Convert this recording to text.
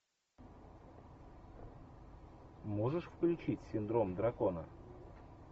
можешь включить синдром дракона